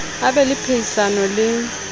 a be le phehisano le